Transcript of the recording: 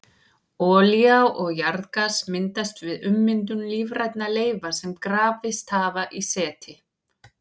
Olía og jarðgas myndast við ummyndun lífrænna leifa sem grafist hafa í seti.